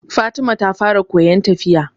Fatima ta fara koyan tafiya